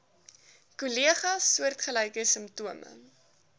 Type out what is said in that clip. kollegas soortgelyke simptome